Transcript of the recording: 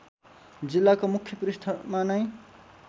जिल्लाको मुख्य पृष्ठमा नै